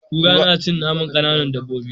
Kura na cin naman kanan dabobi